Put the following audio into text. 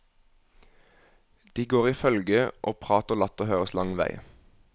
De går i følge og prat og latter høres lang vei.